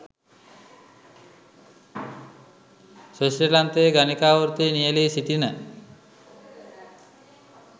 ස්විට්සර්ලන්තයේ ගණිකා වෘත්තියේ නියැලී සිටින